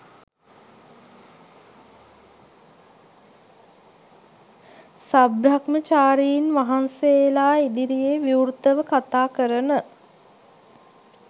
සබ්‍රහ්මචාරීන් වහන්සේලා ඉදිරියේ විවෘතව කතා කරන